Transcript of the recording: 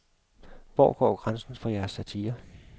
Hvor går grænsen for jeres satire?